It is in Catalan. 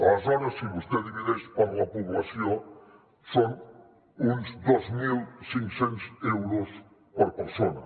aleshores si vostè divideix per la població són uns dos mil cinc cents euros per persona